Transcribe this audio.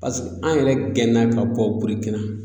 pase an yɛrɛ gɛna ka bɔ burikina